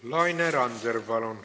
Laine Randjärv, palun!